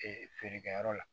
feerekɛyɔrɔ la